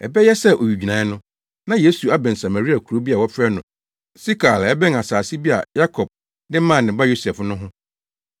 Ɛbɛyɛ sɛ owigyinae no, na Yesu abɛn Samaria kurow bi a wɔfrɛ no Sikar a ɛbɛn asase bi a Yakob de maa ne ba Yosef no ho.